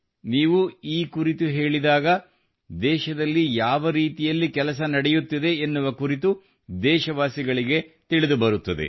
ನೀವು ಈ ಕುರಿತು ಹೇಳಿದಾಗ ದೇಶದಲ್ಲಿ ಯಾವ ರೀತಿಯಲ್ಲಿ ಕೆಲಸ ನಡೆಯುತ್ತಿದೆ ಎನ್ನುವ ಕುರಿತು ದೇಶವಾಸಿಗಳಿಗೆ ತಿಳಿದುಬರುತ್ತದೆ